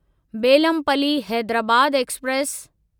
Bellampalli Hyderabad express